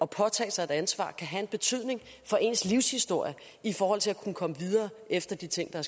påtage sig et ansvar kan have en betydning for ens livshistorie i forhold til at kunne komme videre efter de ting